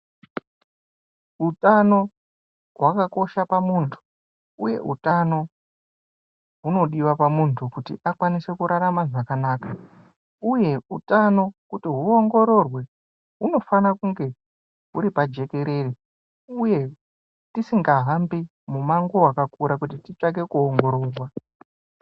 Utano hwakakosha pamuntu uye utano hunodiwa pamuntu kuti akwanise kurarama zvakanaka uye utano kuti huongororwe kunofana kunge huri pajekerere uye tisingahambi mumango wakakura kuti titsvake kuongororwa.